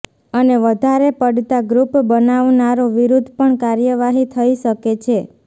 અને વધારે પડતા ગ્રુપ બનાવનારો વિરુદ્ધ પણ કાર્યવાહી થઇ શકે છે